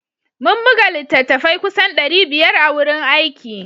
Mun buga littattafai kusan ɗari biyar a wurin aiki